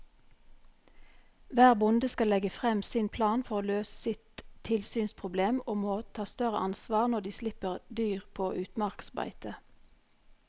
Hver bonde skal legge frem sin plan for å løse sitt tilsynsproblem og må ta større ansvar når de slipper dyr på utmarksbeite.